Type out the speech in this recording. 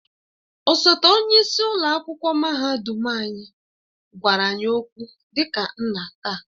Osote onye isi ụlọ akwụkwọ mahadum anyị gwara anyị okwu dị ka nna taa